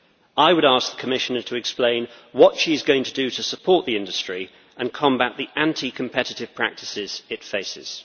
I would ask the Commissioner to explain what she is going to do to support the industry and combat the anti competitive practices it faces.